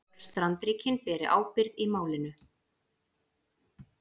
Öll strandríkin beri ábyrgð í málinu